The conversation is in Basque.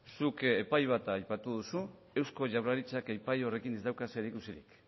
zuk epai bat aipatu duzu eusko jaurlaritzak epai horrekin ez dauka zerikusirik